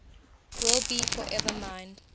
will be forever mine